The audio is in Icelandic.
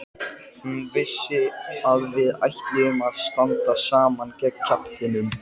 Hún vissi að við ætluðum að standa saman gegn kjaftinum.